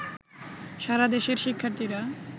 সারা দেশের শিক্ষার্থীরা